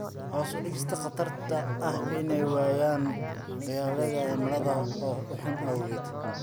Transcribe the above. Hoos u dhigista khatarta ah inay waayaan dalagyada cimilada oo xun awgeed.